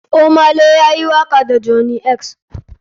Ohmay lay ya yi waka da johney x.